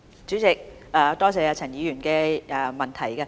主席，多謝陳議員的質詢。